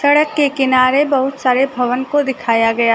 सड़क के किनारे बहुत सारे भवन को दिखाया गया--